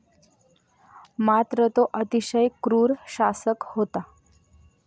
मात्र तो अतिशय क्रूर शासक होता.